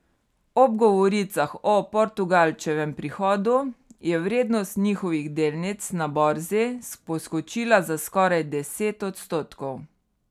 Ob govoricah o Portugalčevem prihodu je vrednost njihovih delnic na borzi poskočila za skoraj deset odstotkov.